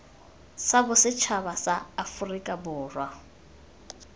sa bosetšhaba sa aforika borwa